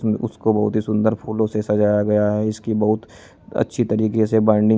उसको बहुत ही सुंदर फूलों से सजाया गया है। इसकी बहुत अच्छी तरीके से बाइंडिंग --